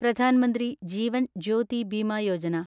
Pradhan Mantri Jeevan Jyoti Bima Yojana